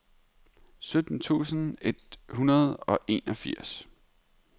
sytten tusind et hundrede og enogfirs